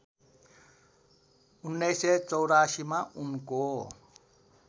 १९८४ मा उनको